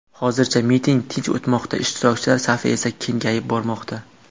Hozircha miting tinch o‘tmoqda, ishtirokchilar safi esa kengayib bormoqda.